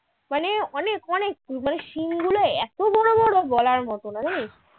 মানে অনেক অনেক মানে শিং গুলো এত বড় বড় বলার মত না